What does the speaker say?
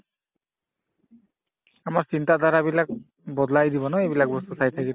আমাৰ চিন্তাধাৰাবিলাক বদলাই দিব ন এইবিলাক বস্তু চাই